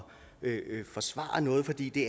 forsvare noget fordi det